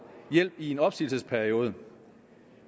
hjælp i en opsigelsesperiode